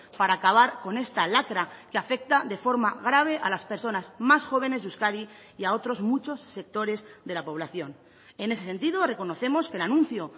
para acabar con esta lacra que afecta de forma grave a las personas más jóvenes de euskadi y a otros muchos sectores de la población en ese sentido reconocemos que el anuncio